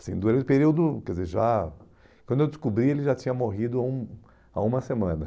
Assim, durante o período, quer dizer, já... Quando eu descobri, ele já tinha morrido há um há uma semana.